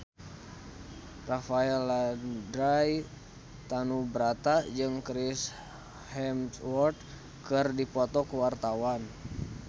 Rafael Landry Tanubrata jeung Chris Hemsworth keur dipoto ku wartawan